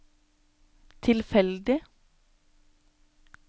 tilfeldig